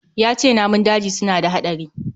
Yace namun daji suna da hadari